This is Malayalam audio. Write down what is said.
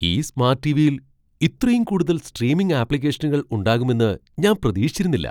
ഈ സ്മാട്ട് ടിവിയിൽ ഇത്രയും കൂടുതൽ സ്ട്രീമിംഗ് ആപ്ലിക്കേഷനുകൾ ഉണ്ടാകുമെന്ന് ഞാൻ പ്രതീക്ഷിച്ചിരുന്നില്ല!